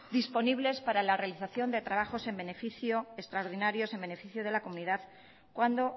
disponibles para la realización de trabajos extraordinarios en beneficio de la comunidad cuando